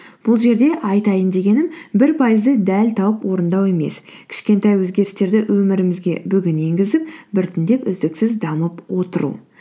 бұл жерде айтайын дегенім бір пайызды дәл тауып орындау емес кішкентай өзгерістерді өмірімізге бүгін енгізіп біртіндеп үздіксіз дамып отыру